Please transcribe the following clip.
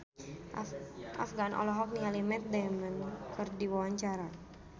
Afgan olohok ningali Matt Damon keur diwawancara